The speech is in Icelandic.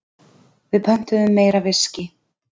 Við pöntuðum meira viskí.